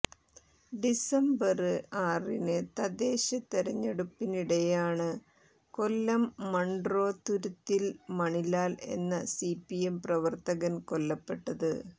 December ആറിന് തദ്ദേശതെരഞ്ഞെടുപ്പിനിടെയാണ് Kollam Munroe തുരുത്തിൽ മണിലാൽ എന്ന സിപിഎം പ്രവര്ത്തകൻ കൊല്ലപ്പെട്ടത്